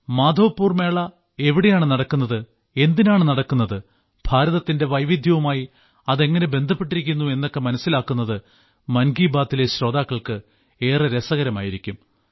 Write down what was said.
മാധവ്പുർ മേള എവിടെയാണ് നടക്കുന്നത് എന്തിനാണ് നടക്കുന്നത് ഭാരതത്തിന്റെ വൈവിധ്യവുമായി അതെങ്ങനെ ബന്ധപ്പെട്ടിരിക്കുന്നു എന്നൊക്കെ മനസ്സിലാക്കുന്നത് മൻ കി ബാത്തിലെ ശ്രോതാക്കൾക്ക് ഏറെ രസകരമായിരിക്കും